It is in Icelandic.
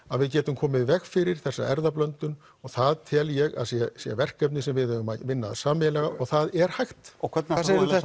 að við getum komið í veg fyrir þessa erfðablöndun og það tel ég að sé sé verkefni sem við eigum að vinna að sameiginlega og það er hægt hvað segir